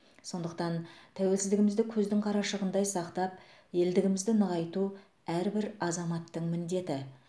сондықтан тәуелсіздігімізді көздің қарашығындай сақтап елдігімізді нығайту әрбір азаматтың міндеті